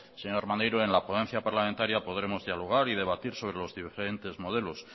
señor maneiro en la ponencia parlamentaria podremos dialogar y debatir sobre los diferentes modelos